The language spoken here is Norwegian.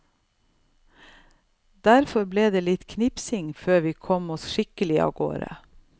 Derfor ble det litt knipsing før vi kom oss skikkelig avgårde.